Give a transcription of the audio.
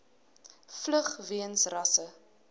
vlug weens rasse